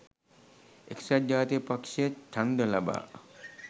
එක්සත් ජාතික පක්ෂය ඡන්ද ලබා